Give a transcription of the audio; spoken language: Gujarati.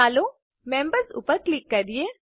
ચાલો મેમ્બર્સ ઉપર ક્લિક કરીએ